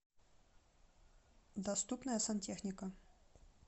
доступная сантехника